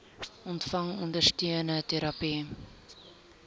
ontvang ondersteunende terapie